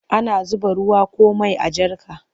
Ana zuba ruwa ko mai a jarka.